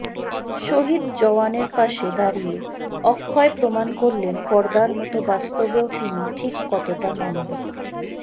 শহিদ জওয়ানের পাশে দাঁড়িয়ে অক্ষয় প্রমাণ করলেন পর্দার মত বাস্তবেও তিনি ঠিক কতটা মানবিক